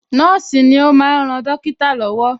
Nọ́ọ̀sì ni ó máa ń ran dọ́kítà lọ́wọ́